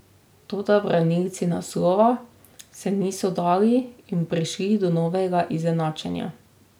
Toda branilci naslova se niso dali in prišli do novega izenačenja.